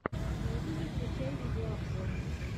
в ютюбе включай видеообзоры